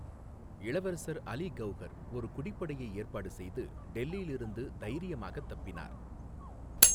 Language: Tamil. இளவரசர் அலி கௌஹர் ஒரு குடிப்படையை ஏற்பாடு செய்து, டெல்லியிலிருந்து தைரியமாக தப்பினார்.